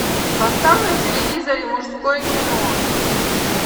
поставь на телевизоре мужское кино